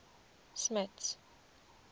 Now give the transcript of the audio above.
smuts